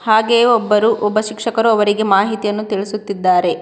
ಹಾಗೆಯೆ ಒಬ್ಬರು ಒಬ್ಬ ಶಿಕ್ಷಕರು ಅವರಿಗೆ ಮಾಹಿತಿಯನ್ನು ತಿಳಿಸುತ್ತಿದ್ದಾರೆ.